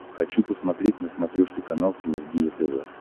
хочу посмотреть на смотрешке канал синергия тв